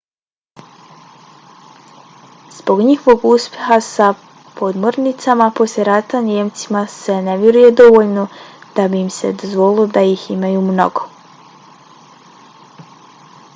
zbog njihovog uspeha s podmornicama posle rata nijemcima se ne vjeruje dovoljno da bi im se dozvolilo da ih imaju mnogo